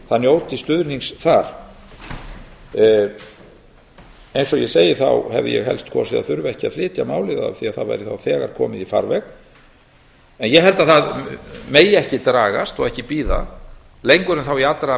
það njóti stuðnings þar eins og ég sagði hefði ég helst kosið að þurfa ekki að flytja málið vegna þess að það væri þá þegar komið í farveg en ég held að það megi ekki dragast lengur en þá í allra